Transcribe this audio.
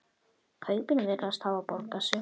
Kaupin virðast hafa borgað sig.